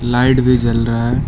Light भी जल रहा हैं।